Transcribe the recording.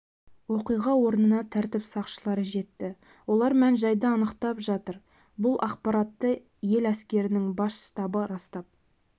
оқиға орнына тәртіп сақшылары жетті олар мән-жайды анықтап жатыр бұл ақпаратты ел әскерінің бас штабы растап